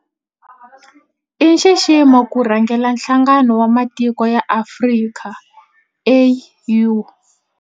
I nxiximo ku rhangela Nhlangano wa Matiko ya Afrika, AU.